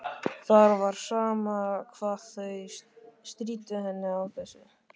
Það var sama hvað þau stríddu henni á þessu.